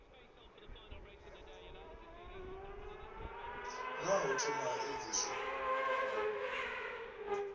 naa ho thoma ha edziswa